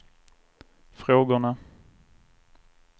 frågorna